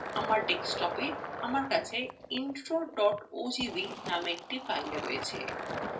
আমার desktopa আমার কাছে intro ogv নামে একটি file আছে